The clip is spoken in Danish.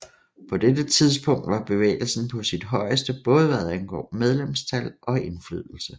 På dette tidspunkt var bevægelsen på sit højeste både hvad angår medlemstal og indflydelse